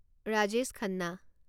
Rajesh Khanna